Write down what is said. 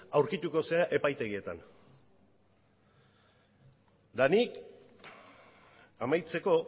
aurkituko zera epaitegietan eta nik amaitzeko